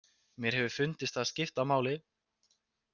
Mér hefur fundist það skipta máli.